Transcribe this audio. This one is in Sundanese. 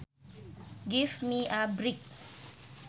Give me a break